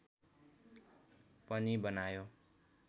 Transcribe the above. पनि बनायो